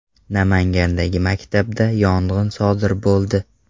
Namangandagi maktabda yong‘in sodir bo‘ldi.